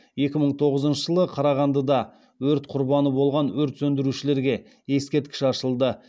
екі мың тоғызыншы жылы қарағандыда өрт құрбаны болған өрт сөндірушілерге ескерткіш ашылды